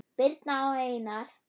Birna og Einar.